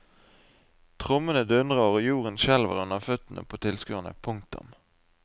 Trommene dundrer og jorden skjelver under føttene på tilskuerene. punktum